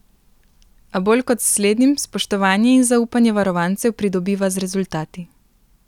A bolj kot s slednjim spoštovanje in zaupanje varovancev pridobiva z rezultati.